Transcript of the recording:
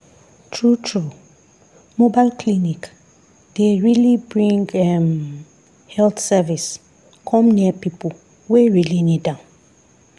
true true mobile clinic dey really bring um health service come near people wey really need am.